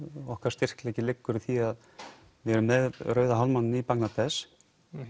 okkar styrkleiki liggur í því að við erum með rauða hálfmánann í Bangladesh